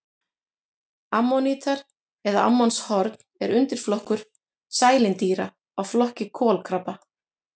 Ammonítar eða ammonshorn er undirflokkur sælindýra af flokki kolkrabba.